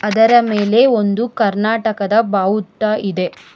ಅದರ ಮೇಲೆ ಒಂದು ಕರ್ನಾಟಕದ ಬಾವುಟ ಇದೆ.